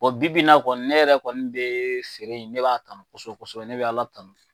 bi b'in na kɔni ne yɛrɛ kɔni bɛ feere ne b'a kanu kosɛbɛ kosɛbɛ ne bɛ ala tanu.